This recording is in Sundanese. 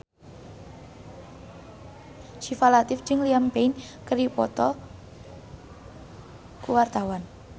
Syifa Latief jeung Liam Payne keur dipoto ku wartawan